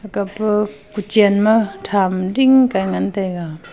aka pa kuchen ma tham dingkai ngan taiga.